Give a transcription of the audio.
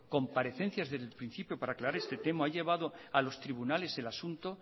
comparecencias desde un principio para aclarar este tema ha llevado a los tribunales el asunto